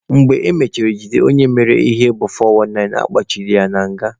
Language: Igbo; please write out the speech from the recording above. Mgbe emechara jide onye mere ya bụ 419, a kpụrụ ya kpochie na nga.